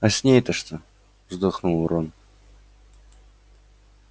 а с ней-то что вздохнул рон